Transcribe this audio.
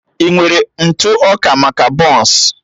I nwere ntụ ọka maka bọns?